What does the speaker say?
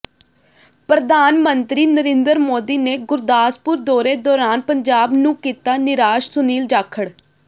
ਪ੍ਰਧਾਨ ਮੰਤਰੀ ਨਰਿੰਦਰ ਮੋਦੀ ਨੇ ਗੁਰਦਾਸਪੁਰ ਦੌਰੇ ਦੌਰਾਨ ਪੰਜਾਬ ਨੂੰ ਕੀਤਾ ਨਿਰਾਸ਼ ਸੁਨੀਲ ਜਾਖੜ